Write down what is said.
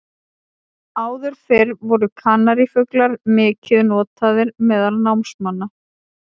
Áður fyrr voru kanarífuglar mikið notaðir meðal námamanna.